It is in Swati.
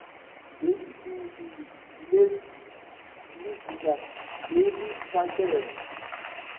lwesibili lizinga leliphakeme